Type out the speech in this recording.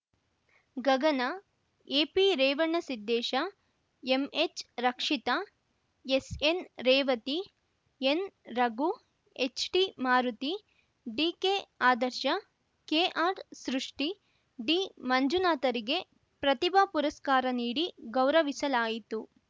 ಗಗನ ಎಪಿರೇವಣಸಿದ್ದೇಶ ಎಂಎಚ್‌ರಕ್ಷಿತಾ ಎಸ್‌ಎನ್‌ರೇವತಿ ಎನ್‌ರಘು ಎಚ್‌ಟಿಮಾರುತಿ ಡಿಕೆಆದರ್ಶ ಕೆಆರ್‌ಸೃಷ್ಟಿ ಡಿಮಂಜುನಾಥರಿಗೆ ಪ್ರತಿಭಾ ಪುರಸ್ಕಾರ ನೀಡಿ ಗೌರವಿಸಲಾಯಿತು